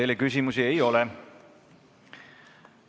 Teile küsimusi ei ole.